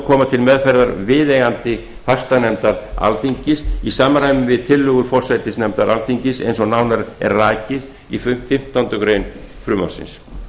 koma til meðferðar viðeigandi fastanefnda alþingis í samræmi við tillögur forsætisnefndar alþingis eins og nánar er rakið í fimmtándu greinar frumvarpsins